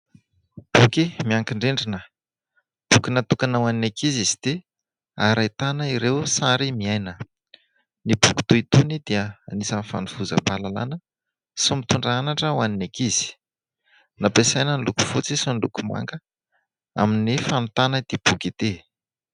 Boky miankin-drindrina. Boky natokana ho an'ny ankizy izy ity ary ahitana ireo sary miaina. Ny boky toy itony dia anisan'ny fanovozam-pahalalana sy mitondra anatra ho an'ny ankizy. Nampiasaina ny loko fotsy sy ny loko manga amin'ny famitana ity boky ity.